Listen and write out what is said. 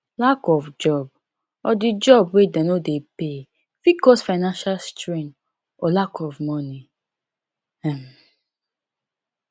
lack of job or di job wey dey no dey pay fit cause finanial strain and lack of money um